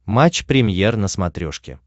матч премьер на смотрешке